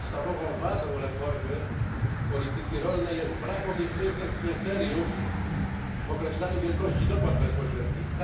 Podstawową wadą reformy polityki rolnej jest brak obiektywnych kryteriów w określaniu wielkości dopłat bezpośrednich.